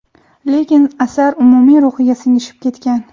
lekin asar umumiy ruhiga singishib ketgan.